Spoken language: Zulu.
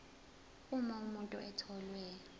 uma umuntu etholwe